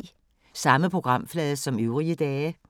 Samme programflade som øvrige dage